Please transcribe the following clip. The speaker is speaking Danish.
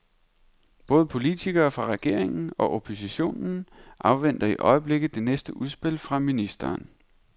Både politikere fra regeringen og oppositionen afventer i øjeblikket det næste udspil fra ministeren.